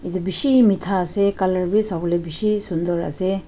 edu bishi mitha ase colour bi sawolae bishi sunder ase.